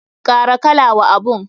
Kara kala wa abun.